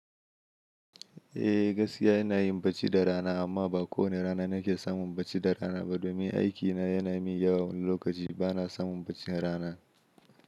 Eh, gaskiya ina yin bacci da rana, amma ba kowane rana nake samun barci da rana ba, domin aikina yana min yawa wani lokaci. Bana samun barcni rana.